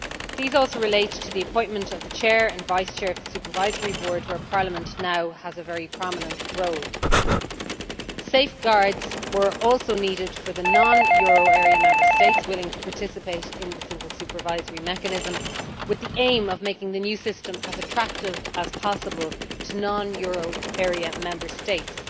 These also relate to the appointment of the Chair and vice Chair of the Supervisory Board, where Parliament now has a very prominent role. Safeguards were also needed for non euro area Member States willing to participate in the Single Supervisory Mechanism, with the aim of making the new system as attractive as possible to non euro area Member States.